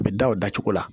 A bɛ da o dacogo la